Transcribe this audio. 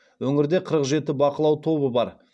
өңірде қырық жеті бақылау тобы бар